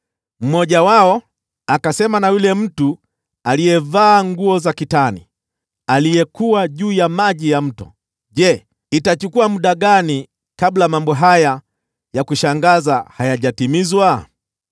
Mmoja wao akasema na yule mtu aliyevaa nguo za kitani, aliyekuwa juu ya maji ya mto, “Je, itachukua muda gani kabla mambo haya ya kushangaza hayajatimizwa?”